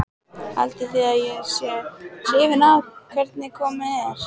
Haldið þið að ég sé hrifinn af hvernig komið er?